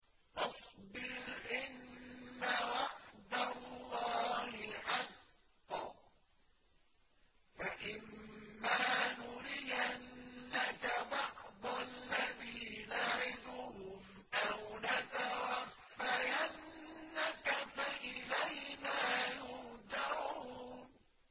فَاصْبِرْ إِنَّ وَعْدَ اللَّهِ حَقٌّ ۚ فَإِمَّا نُرِيَنَّكَ بَعْضَ الَّذِي نَعِدُهُمْ أَوْ نَتَوَفَّيَنَّكَ فَإِلَيْنَا يُرْجَعُونَ